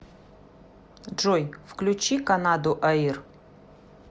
джой включи канаду аир